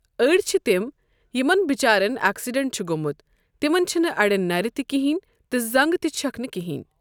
أڑۍ چھِ تِم یِمَن بِچارٮ۪ن اٮ۪کسِڈینٛٹ چھُ گوٚمت تِمَن چھنہٕ اَڑٮ۪ن نر تہِ کِہینۍ تہٕ زنٛگہٕ تہِ چھکھ نہٕ کِہینۍ۔